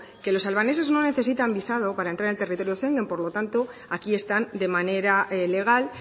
que los albaneses no necesitan visado para entrar en territorio schengen por lo tanto aquí están de manera legal